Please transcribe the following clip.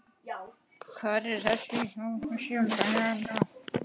Hvernig er stemningin hjá Þór þessa dagana?